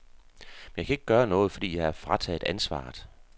Men jeg kan ikke gøre noget, fordi jeg er frataget ansvaret.